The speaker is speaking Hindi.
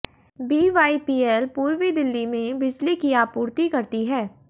बीवाईपीएल पूर्वी दिल्ली में बिजली की आपूर्ति करती है